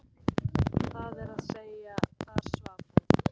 Það er að segja: þar svaf hún.